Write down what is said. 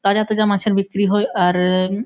তাজা তাজা মাছের বিক্রি হয় আর --